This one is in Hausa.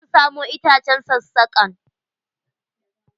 Zan samo itacen sassakan.